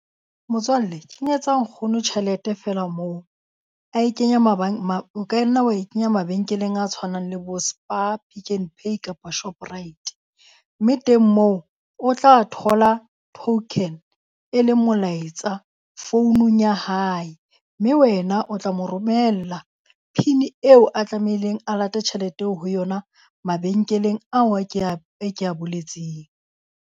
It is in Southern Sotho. Motswalle kenyetsa nkgono tjhelete feela moo. Ae kenya o ka nna wa e kenya mabenkeleng a tshwanang le bo Spar, Pick n Pay kapa Shoprite. Mme teng moo o tla thola token e leng molaetsa founung ya hae, mme wena o tla mo romella PIN eo a tlamehileng a late tjhelete ho yona mabenkeleng ao a kea e kea boletseng.